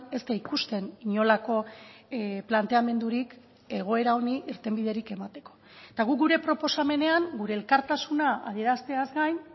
ez da ikusten inolako planteamendurik egoera honi irtenbiderik emateko eta guk gure proposamenean gure elkartasuna adierazteaz gain